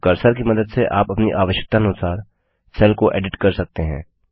अब कर्सर की मदद से आप अपनी आवश्यकतानुसार सेल को एडिट कर सकते हैं